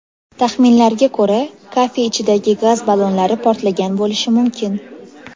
Taxminlarga ko‘ra, kafe ichidagi gaz ballonlari portlagan bo‘lishi mumkin.